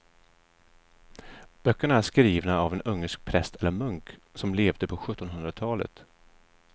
Böckerna är skrivna av en ungersk präst eller munk som levde på sjuttonhundratalet.